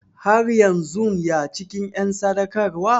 Har yanzun ya cikin en sadaukarwa?